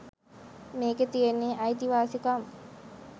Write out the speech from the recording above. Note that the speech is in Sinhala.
මේකෙ තියෙන්නේ අයිතිවාසිකම්